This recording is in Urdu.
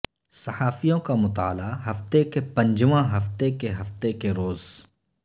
صحافیوں کا مطالعہ ہفتے کے پنجواں ہفتے کے ہفتے کے روز